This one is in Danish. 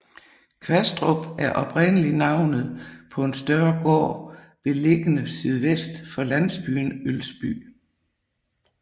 Kvastrup er oprindelig navnet på en større gård beliggende sydvest for landsbyen Ølsby